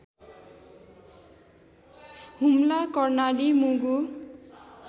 Humla Karnali Mugu